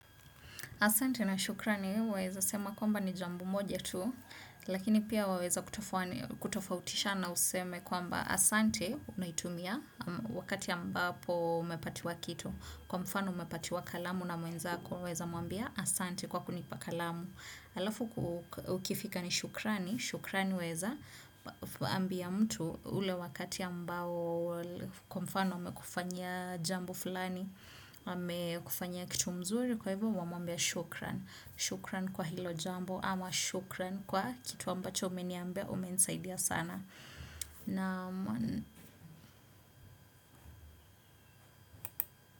Asante na shukrani, waeza sema kwamba ni jambo moja tu, lakini pia waweza kutofautisha na useme kwamba asante unaitumia wakati ambapo umepatiwa kitu. Kwa mfano umepatiwa kalamu na mwenzako waeza mwambia asante kwa kunipa kalamu alafu ukifika ni shukrani shukrani waeza ambia mtu ule wakati ambao kwa mfano amekufanyia jambo fulani amekufanyia kitu mzuri kwa hivyo wamuambia shukran shukran kwa hilo jambo ama shukran kwa kitu ambacho umeniambia umenisaidia sana na.